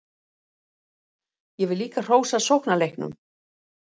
Ég vil líka hrósa sóknarleiknum.